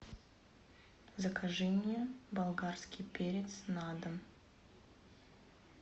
закажи мне болгарский перец на дом